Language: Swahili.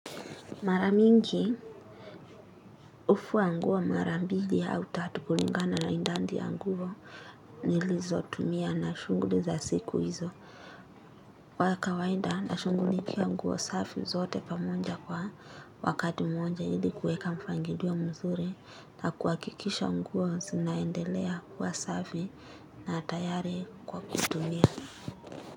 Maramingi, ufua nguo marambili au tatu kulingana na indandi ya nguo nilizo tumia na shunguli za siku hizo. Kwa kawainda na shungulikia nguo safi zote pamonja kwa wakati mmonja ili kueka mpangilio mzuri na kuwakikisha nguo sinaendelea kuwa safi na tayari kwa kutumia.